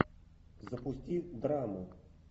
запусти драму